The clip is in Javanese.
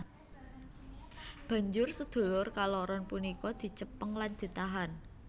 Banjur sedulur kaloron punika dicepeng lan ditahan